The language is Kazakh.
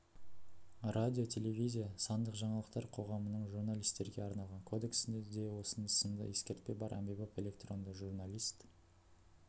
радио телевизия сандық жаңалықтар қоғамының журналистерге арналған кодексінде де осы сынды ескертпе бар әмбебап электронды журналист